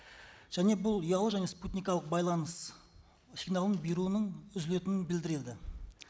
және бұл ұялы және спутникалық байланыс сигналын беруінің үзілетінін білдіреді